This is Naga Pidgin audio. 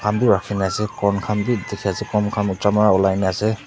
etu rakhi na ase corn khan be dikhi ase corn khan ekjon para olai na ase.